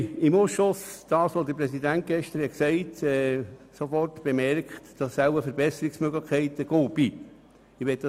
Im Ausschuss haben wir sofort bemerkt, dass es wohl Verbesserungsmöglichkeiten gibt.